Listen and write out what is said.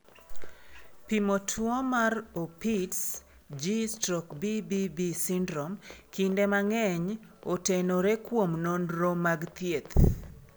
Pimo tuwo mar Opitz G/BBB syndrome kinde mang'eny otenore kuom nonro mag thieth.